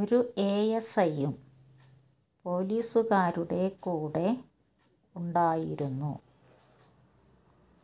ഒരു A S I യും പൊലീസുകാരുടെ കൂടെ ഉണ്ടായിരുന്നു